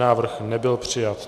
Návrh nebyl přijat.